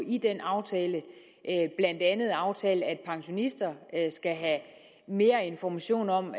i den aftale blandt andet aftalt at pensionister skal have mere information om